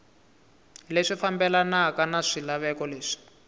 leswi fambelanaka na swilaveko leswi